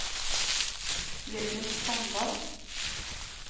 Jørgen Standal